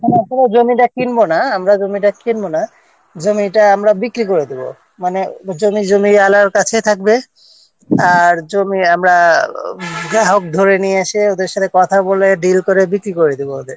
নাহ আমরা জমিটা কিনব না আমরা জমিটা কিনব না জমিটা আমরা বিক্রি করে দেব মানে জমি জমিওয়ালার কাছে থাকবে আর জমি আমরা যা হোক ধরে নিয়ে এসে ওদের সাথে কথা বলে deal করে বিক্রি করে দেব ওদের